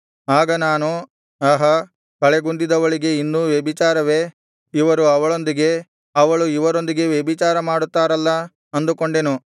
ಆಗ ನಾನು ಆಹಾ ಕಳೆಗುಂದಿದವಳಿಗೆ ಇನ್ನೂ ವ್ಯಭಿಚಾರವೇ ಇವರು ಅವಳೊಂದಿಗೆ ಅವಳು ಇವರೊಂದಿಗೆ ವ್ಯಭಿಚಾರ ಮಾಡುತ್ತಾರಲ್ಲಾ ಅಂದುಕೊಂಡೆನು